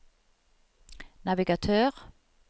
navigatør